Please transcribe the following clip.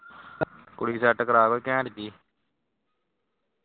ਕੁੜੀ set ਕਰਵਾ ਕੋਈ ਘੈਂਟ ਜਾਈ